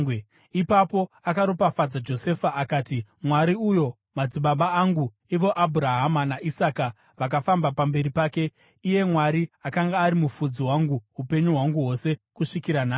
Ipapo akaropafadza Josefa akati, “Mwari uyo madzibaba angu, ivo Abhurahama naIsaka, vakafamba pamberi pake, iye Mwari akanga ari mufudzi wangu upenyu hwangu hwose kusvikira nhasi,